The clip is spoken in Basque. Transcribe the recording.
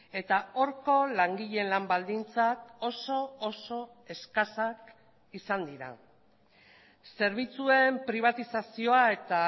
eta horko langileen lan baldintzak oso oso eskasak izan dira zerbitzuen pribatizazioa eta